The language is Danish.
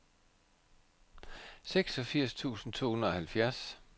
seksogfirs tusind to hundrede og halvfjerds